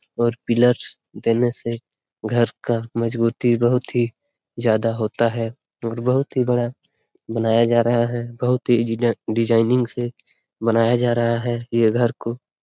और पिलर देने से घर का मजबूती ही ज्यादा होता है और बहुत ही बड़ा बनाया जा रहा है बहुत ही इंजीनियर डिजाइनिंग से बनाया जा रहा है ये घर को।